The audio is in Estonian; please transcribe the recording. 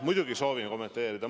Muidugi ma soovin kommenteerida.